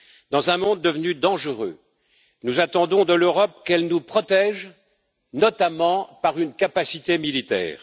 Dans un monde devenu dangereux, nous attendons de l'Europe qu'elle nous protège, notamment par une capacité militaire.